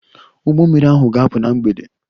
Ụgbọ mmiri ahụ ga-apụ na mgbede.